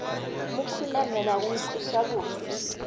mo khunamela go nkweša bose